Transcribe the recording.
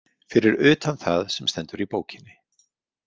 Fyrir utan það sem stendur í bókinni.